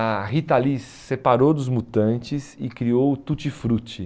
A Rita Lee se separou dos Mutantes e criou o Tutti Frutti.